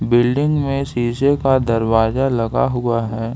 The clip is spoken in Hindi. बिल्डिंग में शीशे का दरवाजा लगा हुआ है।